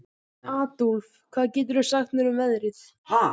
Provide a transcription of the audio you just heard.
Adólf, hvað geturðu sagt mér um veðrið?